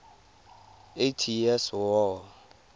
eighty years war